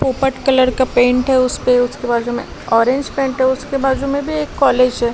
पोपट कलर का पेंट है उसपे उसके बाजू में ऑरेंज पेंट है उसके बाजू में भी एक कॉलेज है।